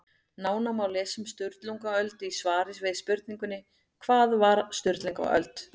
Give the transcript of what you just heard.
Nánar má lesa um Sturlungaöld í svari við spurningunni Hvað var Sturlungaöld?